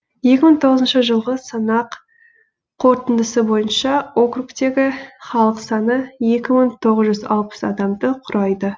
екі мың тоғызыншы жылғы санақ қорытындысы бойынша округтегі халық саны екі мың тоғыз жүз алпыс адамды құрайды